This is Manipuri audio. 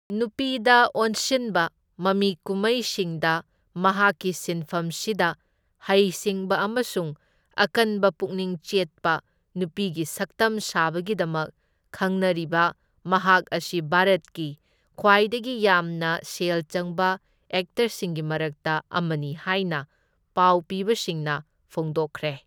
ꯅꯨꯄꯤꯗ ꯑꯣꯟꯁꯤꯟꯕ ꯃꯃꯤꯀꯨꯃꯩꯁꯤꯡꯗ ꯃꯍꯥꯛꯀꯤ ꯁꯤꯟꯐꯝꯁꯤꯗ ꯍꯩꯁꯤꯡꯕ ꯑꯃꯁꯨꯡ ꯑꯀꯟꯕ ꯄꯨꯛꯅꯤꯡ ꯆꯦꯠꯄ ꯅꯨꯄꯤꯒꯤ ꯁꯛꯇꯝ ꯁꯥꯕꯒꯤꯗꯃꯛ ꯈꯪꯅꯔꯤꯕ ꯃꯍꯥꯛ ꯑꯁꯤ ꯚꯥꯔꯠꯀꯤ ꯈ꯭ꯋꯥꯏꯗꯒꯤ ꯌꯥꯝꯅ ꯁꯦꯜ ꯆꯪꯕ ꯑꯦꯛꯇꯔꯁꯤꯡꯒꯤ ꯃꯔꯛꯇ ꯑꯃꯅꯤ ꯍꯥꯢꯅ ꯄꯥꯎꯄꯤꯕꯁꯤꯡꯅ ꯐꯣꯡꯗꯣꯛꯈ꯭ꯔꯦ꯫